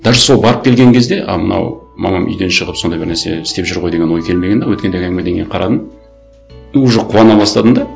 даже сол барып келген кезде а мынау мамам үйден шығып сондай бір нәрсе істеп жүр ғой деген ой келмеген де өткендегі әңгімеден кейін қарадым уже қуана бастадым да